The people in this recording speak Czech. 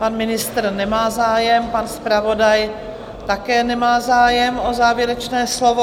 Pan ministr nemá zájem, pan zpravodaj také nemá zájem o závěrečné slovo.